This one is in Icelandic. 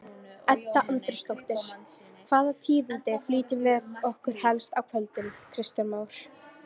Edda Andrésdóttir: Hvaða tíðindi flytur þú okkur helst í kvöld Kristján Már?